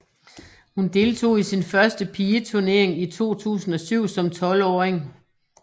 Hun deltog i sin første pigeturnering i 2007 som 12 åring